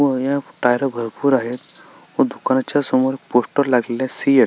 tyre भरपूर आहेत व दुकानाच्या समोर पोस्टर लागलेले आहेत सीएट --